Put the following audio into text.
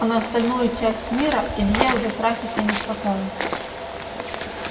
а на остальную часть мира илье уже трафика не хватало